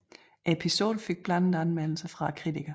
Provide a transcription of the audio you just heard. Episoden fik blandede anmeldelser fra kritikerne